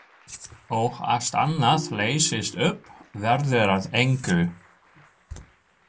Og allt annað leysist upp, verður að engu.